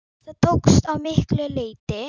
Það tókst að miklu leyti.